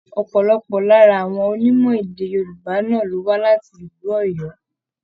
Ọpọlọpọ lára àwọn onímọ̀-èdè Yorùbá náà wà láti ìlú Oyo.